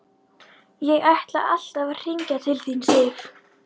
Ég ætlaði alltaf að hringja til þín, Sif.